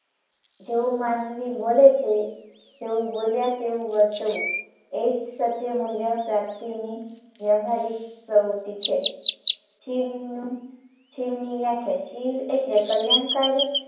જેવું માનવી બોલે છે તેવું બોલ્યા તેવું વર્તવું એ જ સત્ય મૂલ્ય પ્રાપ્તીની વ્યવહારિક પ્રવૃત્તિ છે શિવનું શિવની વ્યાખ્યા શિવ એટલે કલ્યાણકારી